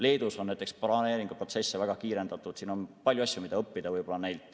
Leedus näiteks on planeeringuprotsesse väga kiirendatud ja on palju asju, mida neilt õppida.